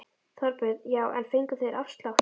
Þorbjörn: Já en fengu þeir afslátt?